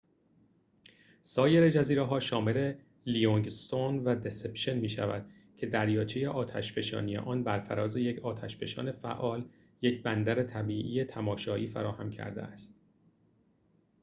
سایر جزیره‌ها شامل لیوینگ‌استون و دسِپشن می‌شود که دریاچه آتشفشانی آن بر فراز یک آتش‌فشان فعال یک بندر طبیعی تماشایی فراهم کرده است